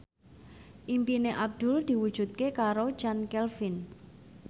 impine Abdul diwujudke karo Chand Kelvin